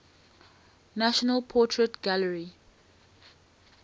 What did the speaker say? national portrait gallery